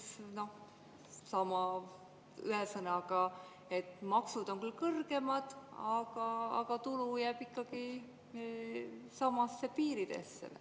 Kas te ei mõelnud seda, et võimalik, et riik saab sama tulu, tõstes rohkem seda maksumäära, ühesõnaga, et maksud on küll kõrgemad, aga tulu jääb ikkagi samadesse piiridesse?